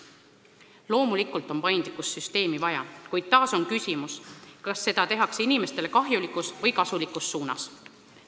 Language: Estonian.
Loomulikult on paindlikkust süsteemi vaja, kuid taas on küsimus, kas seda tehakse inimestele kahjulikus või kasulikus suunas.